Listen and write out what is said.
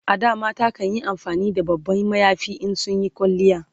A da mata kanyi amfani da babban mayafi in sun Yi kwalliya